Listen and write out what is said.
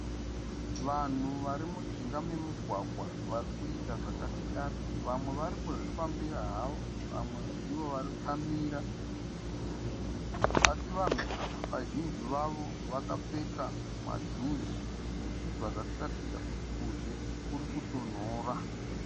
Vanhu vari mujinga memugwagwa vari kuita zvakasiyana. Vamwe vari kuzvifambira havo. Vamwe ndivo vakamira. Asi vanhu ava vazhinji vavo vakapfeka majuzi zvichibva zvatiratidza kuti kuzhe kuri kutonhora.